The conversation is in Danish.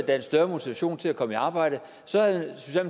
er en større motivation til at komme i arbejde så havde